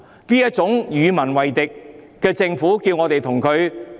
面對這種與民為敵的政府，要我們怎樣？